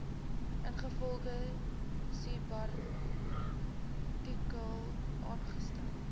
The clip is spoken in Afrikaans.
ingevolge subartikel aangestel